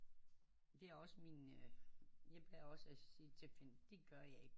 Det er også min øh jeg plejer også at sige til mine det gør jeg ikke